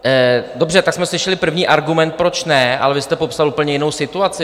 Dobře, tak jsme slyšeli první argument, proč ne, ale vy jste popsal úplně jinou situaci.